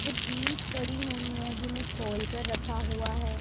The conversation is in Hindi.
कुछ जींस पड़ी हुई हैं जिन्हें खोलकर रखा हुआ है।